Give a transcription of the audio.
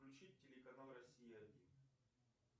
включить телеканал россия один